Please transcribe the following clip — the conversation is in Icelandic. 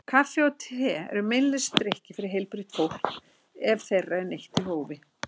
Kaffi og te eru meinlausir drykkir fyrir heilbrigt fólk ef þeirra er neytt í hófi.